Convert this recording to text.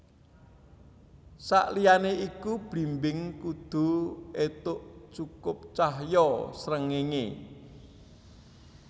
Saliyané iku blimbing kudu éntuk cukup cahya srengenge